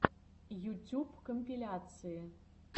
ютюб компиляции